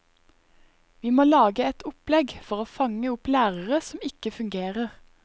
Vi må lage et opplegg for å fange opp lærere som ikke fungerer.